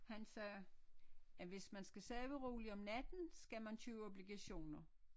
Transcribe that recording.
Han sagde at hvis man skal sove roligt om natten skal man købe obligationer